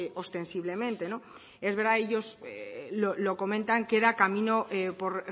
ostensiblemente es verdad ellos lo comentan queda camino por